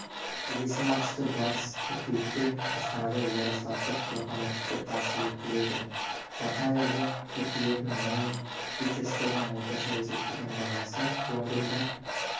келесіматчты барыс қыркүйекте астанадаярославлдық локомотивке қарсы өткізеді жақын айларда жеткізілетін мұнай фьючерстерінің орташа есептеген бағасы лондонда